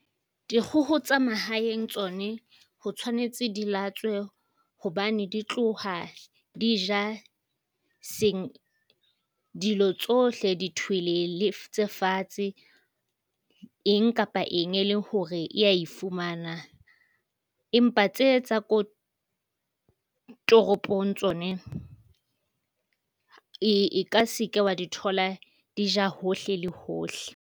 Dikgoho tsa mahaeng tsone ho tshwanetse di latswe hobane di tloha di ja se dilo tsohle di tswelele tse fatshe eng kapa eng e le hore e a fumana. Empa tse tsa ko toropong tsone e ka se ke wa di thola di ja hohle le hohle.